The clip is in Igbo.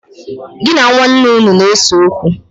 Gi na nwaane unu na-ese okwu?